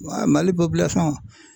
Mali